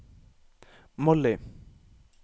Molly